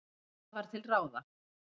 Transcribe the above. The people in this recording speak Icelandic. Hvað var til ráða?